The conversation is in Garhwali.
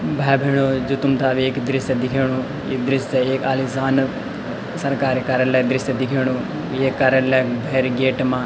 भाई-भेणाे जो तुम्थे अब एक दृश्य दिखेणु ये दृश्य एक आलिशान सरकारी कार्यालय दृश्य दिखेणु ये कार्यालय भैर गेट मा --